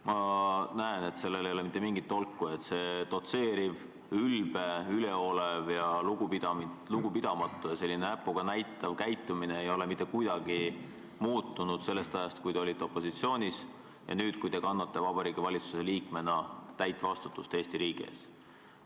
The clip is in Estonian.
Ma näen, et sellest ei ole mitte mingit tolku, see dotseeriv, ülbe, üleolev, lugupidamatu ja näpuga näitav käitumine ei ole mitte kuidagi muutunud sellest ajast, kui te olite opositsioonis, see on samasugune nüüd, kui te kannate Vabariigi Valitsuse liikmena täit vastutust Eesti riigi ees.